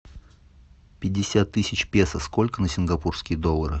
пятьдесят тысяч песо сколько на сингапурские доллары